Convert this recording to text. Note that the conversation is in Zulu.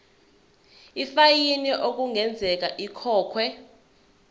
ifayini okungenzeka ikhokhwe